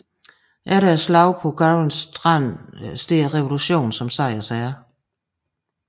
Efter slaget på Giron Strand står revolutionen som sejrherre